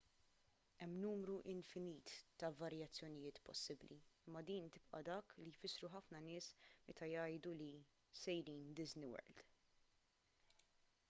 hemm numru infinit ta' varjazzjoniiet possibbli imma din tibqa' dak li jfissru ħafna nies meta jgħidu li sejrin disney world